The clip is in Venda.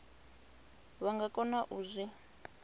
vha nga kona u zwi